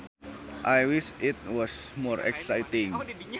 I wish it was more exciting